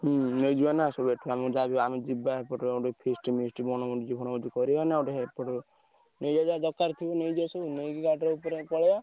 ହୁଁ ନେଇଯିବା ନାଁ ୟାହା ଏଠୁ ଆମର ଯିବା ଗୋଟେ feast ମିଷ୍ଟ ବଣଭୋଜି ଫଣଭୋଜୀ କରିଆ ନା ଦରକାର ଯାହା ଥିବ ସବୁ ନେଇଯିବା ନେଇକି ଗାଡିରେ ପଳେଈ ବା।